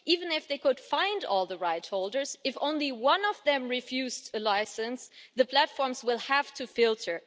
Even if they could find all the rightholders, if just one of them refused a licence, the platforms would have to filter.